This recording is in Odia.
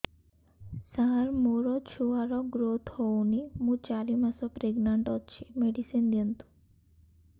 ସାର ମୋର ଛୁଆ ର ଗ୍ରୋଥ ହଉନି ମୁ ଚାରି ମାସ ପ୍ରେଗନାଂଟ ଅଛି ମେଡିସିନ ଦିଅନ୍ତୁ